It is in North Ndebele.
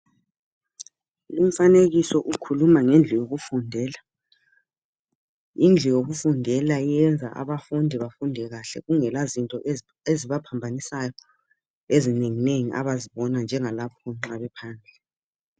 Lumfanekiso ukhuluma ngendlu yokufundela. Indlu yokufundela yenza abafundi bafunde kahle kungelazinto ezibaphambanisayo ezinenginengi abazibonayo njengalapho nxa bephandle.